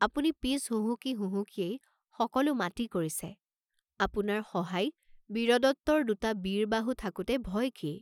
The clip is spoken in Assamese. আপুনি পিছ হুহুকি হুহুকিয়েই সকলো মাটি কৰিছে, আপোনাৰ সহায় বীৰদত্তৰ দুটা বীৰবাহু থাকোতে ভয় কি?